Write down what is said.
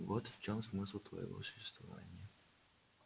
вот в чем смысл твоего существования